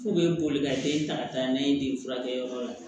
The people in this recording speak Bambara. K'u bɛ boli ka den ta ka taa n'a ye den furakɛyɔrɔ la